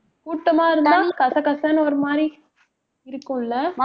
கூட்டமா இருந்தா கசகசன்னு ஒரு மாதிரி இருக்கும் இல்ல?